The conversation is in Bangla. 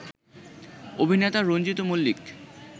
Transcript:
অভিনেতা রঞ্জিত মল্লিক